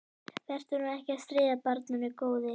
Vertu nú ekki að stríða barninu, góði.